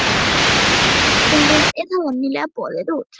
Þegar verkið hefur verið skilgreint er það venjulega boðið út.